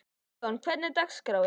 Gídeon, hvernig er dagskráin?